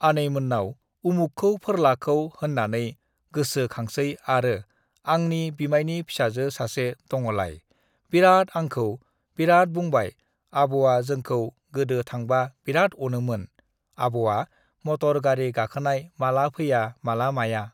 आनैमोननाव उमुखखौ फोरलाखौ होननानै गोसो खांसै आरो आंनि बिमायनि फिसाजो सासे दङ'लाय बिराद आंखौ बिराद बुंबाय आब'आ जोंखौ गोदो थांबा बिराद अनोमोन आब'आ मटर गारि गाखोनाय माला फैया माला माया